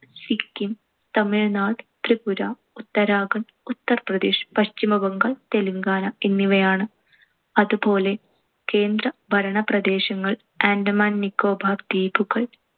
സിക്കിം, തമിഴ്‌നാട്‌, ത്രിപുര, ഉത്തരാഖണ്ഡ്, ഉത്തർപ്രദേശ്‌, പശ്ചിമ ബംഗാൾ, തെലങ്കാന എന്നിവയാണ്. അതുപോലെ കേന്ദ്ര ഭരണ പ്രദേശങ്ങൾ ആൻഡമാൻ നിക്കോബാർ ദ്വീപുകൾ,